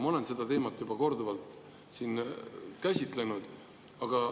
Ma olen seda teemat siin juba korduvalt käsitlenud.